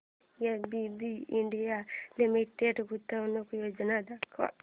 ABB India limited गुंतवणूक योजना दाखव